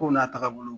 Kow n'a tagabolo